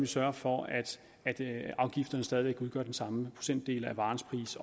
sørger for at afgifterne stadig væk udgør den samme procentdel af varens pris